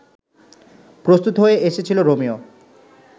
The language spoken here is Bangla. প্রস্তুত হয়ে এসেছিল রোমিও